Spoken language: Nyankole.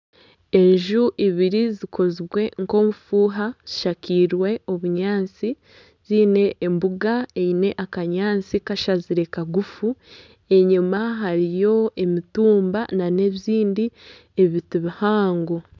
Enju ibiri zikozirwe nk'obufuuha zishakirwe obunyaatsi ziine embuga eine akanyaatsi kashazire kagufu. Enyima hariyo emitumba nana ebindi ebiti bihango.